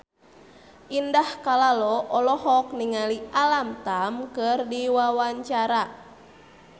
Indah Kalalo olohok ningali Alam Tam keur diwawancara